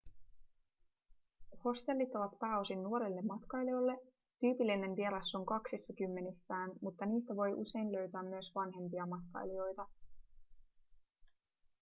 hostellit ovat pääosin nuorille matkailijoille tyypillinen vieras on kaksissakymmenissään mutta niistä voi usein löytää myös vanhempia matkailijoita